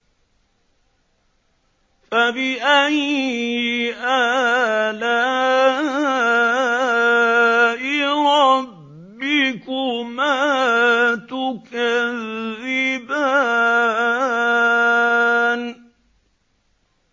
فَبِأَيِّ آلَاءِ رَبِّكُمَا تُكَذِّبَانِ